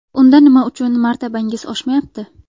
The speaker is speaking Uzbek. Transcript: Unda nima uchun martabangiz oshmayapti?